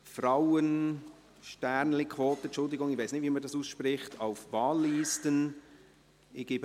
«Frauen*quote», entschuldigen Sie, ich weiss nicht, wie man dies ausspricht, «auf Wahllisten».